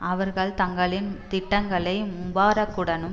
அவர்கள் தங்களின் திட்டங்களை முபாரக்குடனும்